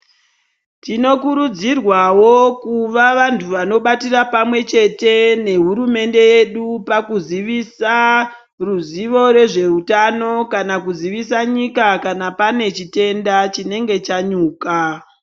Tinokurudziewawo kuva vantu vanobatira pamwechete nehurumente yedu pakuzivisa ruzivo rezveutano kana kuzivisa nyika kana panechitenda chinenge chanyuka.